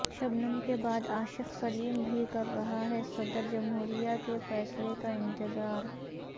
شبنم کے بعد عاشق سلیم بھی کر رہا ہے صدر جمہوریہ کے فیصلے کا انتظار